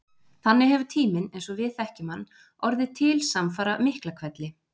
Þannig hefur tíminn, eins og við þekkjum hann, orðið til samfara Miklahvelli.